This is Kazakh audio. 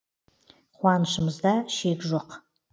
қуанышымызда шек жоқ